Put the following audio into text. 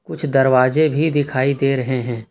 कुछ दरवाजे भी दिखाई दे रहे हैं।